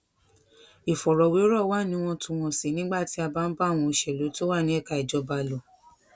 ìfọrọwérò wà níwọntúnwọnsì nígbà tí a bá ń bá àwọn òṣèlú tó wà ní ẹka ìjọba lò